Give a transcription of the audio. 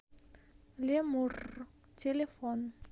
лемуррр телефон